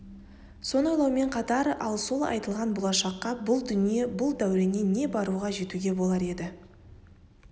соны ойлаумен қатар ал сол айтылған болашаққа бұл дүние бұл дәуреннен не баруға жетуге болар еді